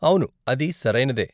అవును, అది సరైనదే.